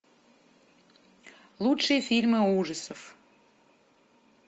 лучшие фильмы ужасов